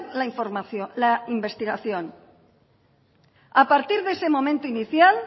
la investigación a partir de ese momento inicial